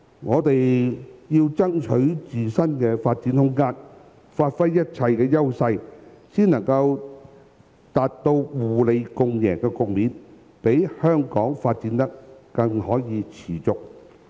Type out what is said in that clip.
我們要爭取自身的發展空間，發揮一切的優勢，才能達到互利共贏的局面，讓香港可以持續發展。